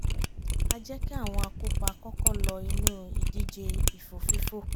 a jẹ́ kí àwọn akópa kọ́kọ́ lọ inú ìdíje ìfò-fífò